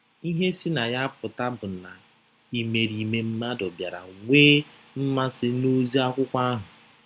Ihe si na ya pụta bụ na imerime mmadụ bịara nwee mmasị n’ozi akwụkwọ ahụ.